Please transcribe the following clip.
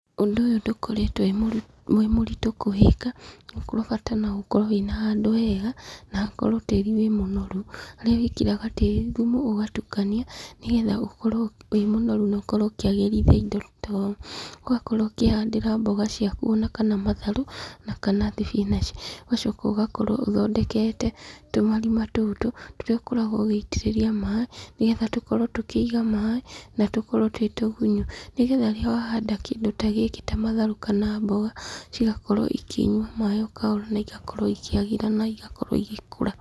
Ũndũ ũyũ ndũkoretwo wĩ mũritũ kũwĩka, bata no gũkorwo wĩna handũ hega, na hakorwo tĩrĩ wĩ mũnoru, haria wĩkĩraga tĩri thumu ũgatukania, nĩ getha ũkorwo wĩ mũnoru na ũkorwo ũkĩagĩrithia indo ta ũũ. Ũgakorwo ũkĩhandĩra mboga ciaku ona kana matharũ, na kana thibinanji. Ũgacoka ũgakorwo ũthondekete tũmarima tũtũ, tũrĩa ũkoragwo ũgĩitĩtĩria maaĩ, nĩgetha tũkorwo tũkĩiga maaĩ, na tũkorwo twĩ tũgunyu. Nĩ getha rĩrĩa wahanda kĩndũ ta gĩkĩ ta matharũ kana mboga, cĩgakorwo ikĩnyua maaĩ o kahora, na igakorwo ikĩagĩra na igakorwo igĩkũra.